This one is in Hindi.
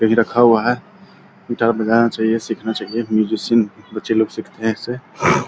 कहीं रखा हुआ है गिटार बजाना चाहिए सीखना चाहिए म्यूजिशियन बच्चे लोग सिखाते हैं इससे।